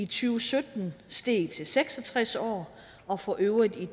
tusind og steg til seks og tres år og for øvrigt i